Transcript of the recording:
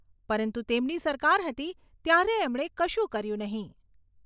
પરંતુ તેમની સરકાર હતી ત્યારે એમણે કશું કર્યું નહીંં.